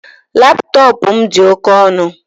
Laptọọpụ m dị oke ọnụ